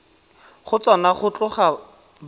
go tsona go tloga ba